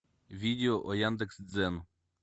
видео о яндекс дзен